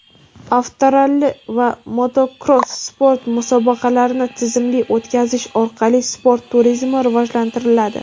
avtoralli va motokross sport musobaqalarini tizimli o‘tkazish orqali sport turizmi rivojlantiriladi.